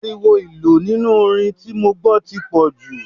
Ariwo ìlù nínú orin tí mo gbọ́ tí pọ̀jù.